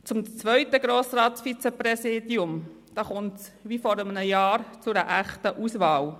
Beim zweiten Grossratsvizepräsidium kommt es, wie schon vor einem Jahr, zu einer echten Auswahl.